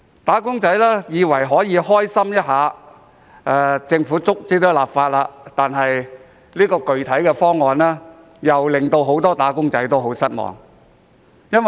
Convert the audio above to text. "打工仔"以為可以開心一下，因為政府最終也立法，但這個具體方案卻令很多"打工仔"感到失望。